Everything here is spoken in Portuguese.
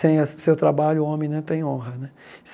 Sem a seu trabalho, o homem não tem honra né.